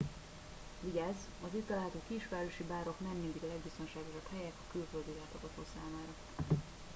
vigyázz az itt található kisvárosi bárok nem mindig a legbiztonságosabb helyek a külföldi látogató számára